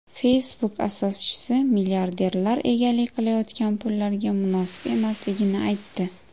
Facebook asoschisi milliarderlar egalik qilayotgan pullarga munosib emasligini aytdi.